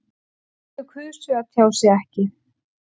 Þau kusu að tjá sig ekki